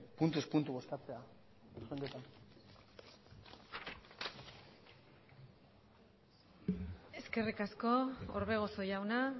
puntuz puntu bozkatzea eskerrik asko orbegozo jauna